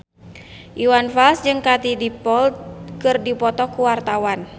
Iwan Fals jeung Katie Dippold keur dipoto ku wartawan